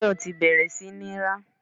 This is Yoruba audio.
Tayọ ti bẹ̀rẹ̀ sí ní rá.